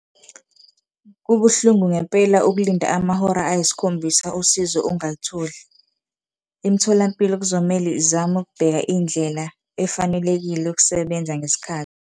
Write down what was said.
Kubuhlungu ngempela ukulinda amahora ayisikhombisa usizo ungalitholi, imitholampilo kuzomele izame ukubheka indlela efanelekile yokusebenza ngesikhathi.